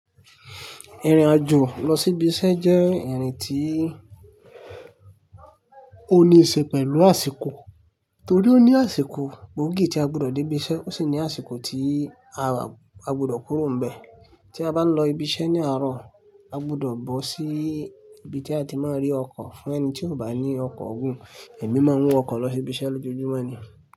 Ìrìn-àjò lọ sí ibi iṣẹ́ jẹ́ ìrìn tí ó ní í ṣe pẹ̀lú àsìkò. Nítorí ó ní àsìkò gbóògì tí a gbọdọ̀ dé ibi iṣẹ́, ó sì ní àsìkò tí a gbọdọ̀ kúrò ní ibẹ̀. Tí a bá ń lọ ibi iṣẹ́ ní àárọ̀, a gbọdọ̀ bọ́ sí ibi tí a ti máa rí ọkọ̀ fún ẹni tí ò bá ní ọkọ̀ ogún. Èmi máa ń wọ ọkọ̀ lọ sí ibi iṣẹ́ lójoojúmọ́ ni.